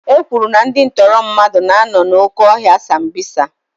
E kwuru na ndị ntọrị mmadụ na-anọ n'oke ọhịa sambisa.